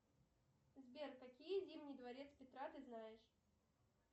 сбер какие зимний дворец петра ты знаешь